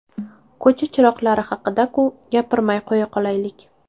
Ko‘cha chiroqlari haqida-ku, gapirmay qo‘ya qolaylik!